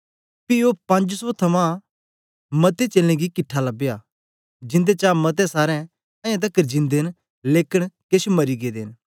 पी ओ पंज सौ थमां मते चेलें गी किट्ठा लबया जिंदे चा मते सारे अयें तकर जिंदे न लेकन केछ मरी गेदे